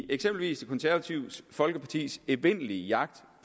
eksempel det konservative folkepartis evindelige jagt